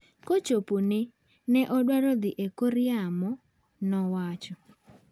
"Kochopone, ne odwaro dhi e kor yamo" nowacho.